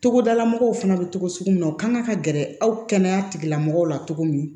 Togodala mɔgɔw fana bɛ togo sugu min na u kan ka gɛrɛ aw kɛnɛya tigilamɔgɔw la cogo min